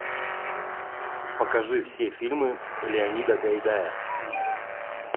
покажи все фильмы леонида гайдая